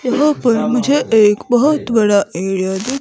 यहां पर मुझे एक बहोत बड़ा एरिया दि--